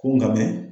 Ko n ga mɛn